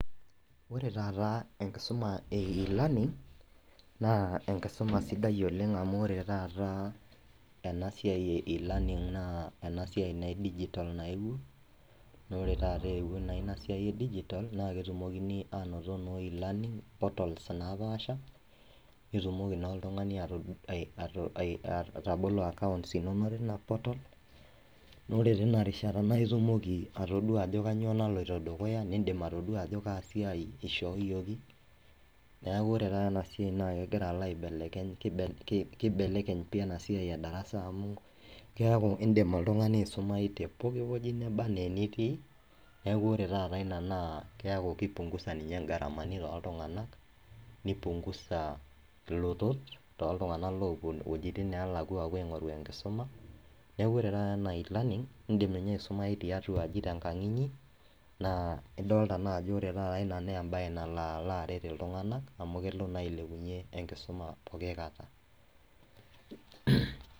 ore taata enkisuma e elearning naa enkisuma sidai oleng amu, ore taata ena siai e velearning naa ena siai naa e digital nayewuo, naa ore taata eewuo naa ina siai e digital na ketumokini aanoto noo elearning portal naapasha, nitumoki naa oltungani aatabolo accounts inono tina portal naa ore teina rishata naa itumoki, atodua ajo kainyioo naloito dukuya. nidim aatodua ajo kaa siai ishooyioki, neeku ore taata ena siai kegira alo aibelekeny, kibelekeny pii ena siai edarasa amu, keeku idim oltungani aisumayu te poki wueji, neba anaa enitii, neeku ore taata ina naa keeiku ki punguza ninye iropiyiani tooltunganak, ni punguza ilotot too ltunganak oopuo wuejitin neelakua, nepuo aapuo aing'oru enkisuma. neeku ore taata ena, naa e learning idim ninye aisumayu tenkang inyi. naa idoolta naa ajo, ore taata ina naa embae nalo alo aret, iltung'anak amu kelo naa ailepunye enkisma pooki kata.